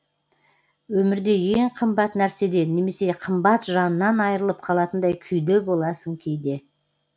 өмірде ең қымбат нәрседен немесе қымбат жаннан айырылып қалатындай күйде боласың кейде